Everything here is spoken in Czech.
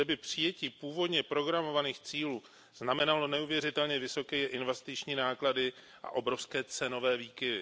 Zde by přijetí původně programovaných cílů znamenalo neuvěřitelně vysoké investiční náklady a obrovské cenové výkyvy.